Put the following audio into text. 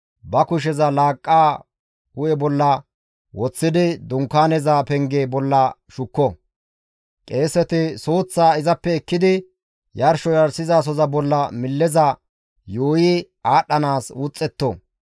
ba kusheza laaqqaa hu7e bolla woththidi Dunkaaneza penge bolla shukko; qeeseti suuththaa izappe ekkidi yarsho yarshizasoza bolla milleza yuuyi aadhdhanaas wuxxetto.